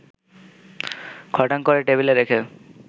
খটাং করে টেবিলে রেখে